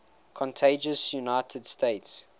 contiguous united states